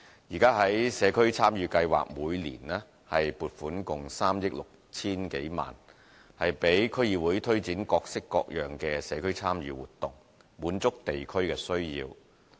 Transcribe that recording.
現時，社區參與計劃每年撥款共3億 6,000 多萬元，讓區議會推展各式各樣的社區參與活動，滿足地區的需要。